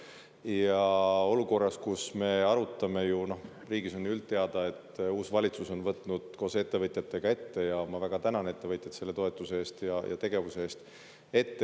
Ja olukorras, kus me arutame, ja riigis on ju üldteada, et uus valitsus on võtnud koos ettevõtjatega ette – ja ma väga tänan ettevõtjad selle toetuse eest ja tegevuse eest!